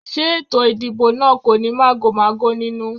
Ṣé ètò ìdìbò náà kò ní màgòmágó nínú?